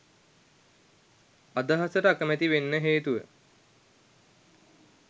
අදහසට අකමැති වෙන්න හේතුව